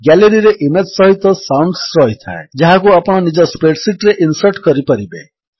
Galleryରେ image ସହିତ sounds ରହିଥାଏ ଯାହାକୁ ଆପଣ ନିଜ ସ୍ପ୍ରେଡ୍ ଶୀଟ୍ ରେ ଇନ୍ସର୍ଟ କରିପାରିବେ